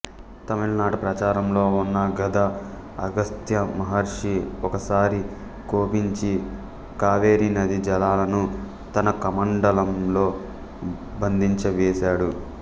తమిళనాట ప్రచారంలో ఉన్న గాథ అగస్త్యమహర్షి ఒకసారి కోపించి కావేరీనదీ జలాలను తన కమండలంలో బంధించివేశాడు